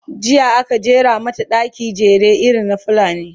jiya aka jera mata ɗaki, jere irin na fulani